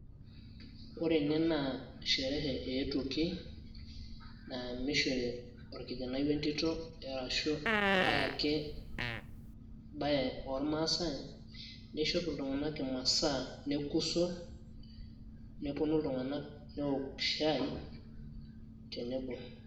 ore ene naa sherehe eetuoki, naa nishori orkijanai entito, ashu ae ake bae oormaasae. nishop iltunganak imasaa nekuso. nepuonu iltunganak nneok shai tenebo.